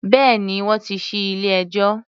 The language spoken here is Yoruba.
Bẹ́ẹ̀ni, wọ́n ti ṣí ilé-ẹjọ́.